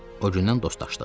O gündən dostlaşdıq.